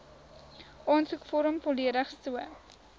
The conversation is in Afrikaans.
aansoekvorm volledig so